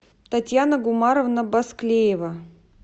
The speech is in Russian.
татьяна гумаровна басклеева